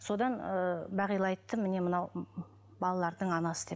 содан ыыы бағила айтты міне мынау балалардың анасы деп